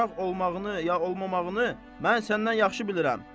Uşaq olmağını ya olmamağını mən səndən yaxşı bilirəm.